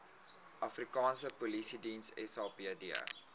afrikaanse polisiediens sapd